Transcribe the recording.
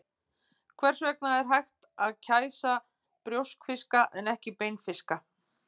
Hvers vegna er hægt að kæsa brjóskfiska en ekki beinfiska?